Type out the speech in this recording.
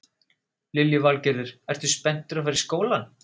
Lillý Valgerður: Ertu spenntur að fara í skólann?